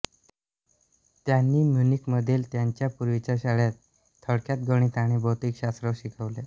त्यांनी म्युनिकमधील त्याच्या पूर्वीच्या शाळेत थोडक्यात गणित आणि भौतिकशास्त्र शिकवले